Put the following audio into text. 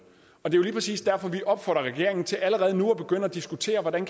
og det er jo lige præcis derfor vi opfordrer regeringen til allerede nu at begynde at diskutere hvordan